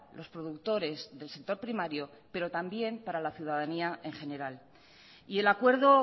los productores del sector primario pero también para la ciudadanía en general y el acuerdo